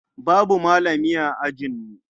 Babu malami a ajinmu.